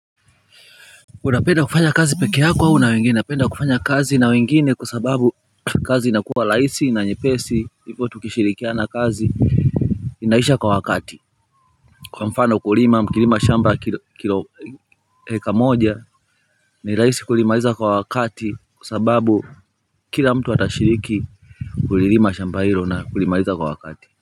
Unapenda kufanya kazi peke yako au na wengine napenda kufanya kazi na wengine kwa sababu kazi inakuwa rahisi na nyepesi hivo kukishirikiana kazi inaisha kwa wakati kwa mfano kulima nikilima shamba kilo heka moja ni rahisi kulimaliza kwa wakati kwa sababu kila mtu atashiriki kulilima shamba hilo na kulimaliza kwa wakati.